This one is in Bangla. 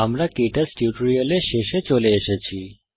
আমরা কে টচ টিউটোরিয়ালের শেষে চলে এসেছি